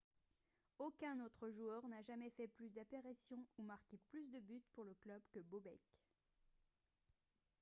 aucun autre joueur n'a jamais fait plus d'apparitions ou marqué plus de buts pour le club que bobek